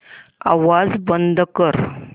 आवाज बंद कर